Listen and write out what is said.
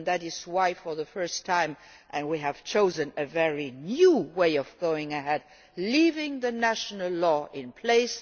That is why, for the first time, we have chosen a very new way of going ahead leaving the national law in place